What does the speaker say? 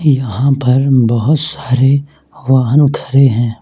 यहां पर बहोत सारे वाहन खड़े हैं।